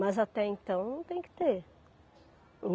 Mas até então não tem que ter.